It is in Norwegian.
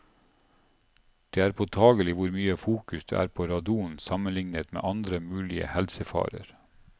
Det er påtagelig hvor mye fokus det er på radon sammenlignet med andre mulige helsefarer.